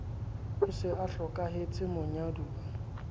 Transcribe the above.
a se a hlokahetse monyaduwa